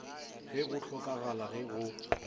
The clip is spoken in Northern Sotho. ge go hlokagala ge go